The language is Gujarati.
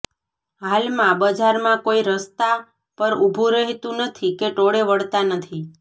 હાલમાં બજારમાં કોઇ રસ્તા પર ઊભું રહેતંુ નથી કે ટોળે વળતા નથી